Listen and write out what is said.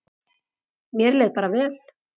Mér leið bara vel.